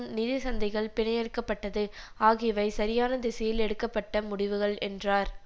நிதி சந்தைகள் பிணையெடுக்கப்பட்டது ஆகியவை சரியான திசையில் எடுக்க பட்ட முடிவுகள் என்றார்